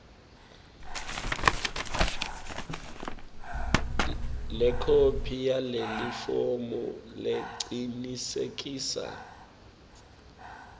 lekhophi yalelifomu lecinisekisa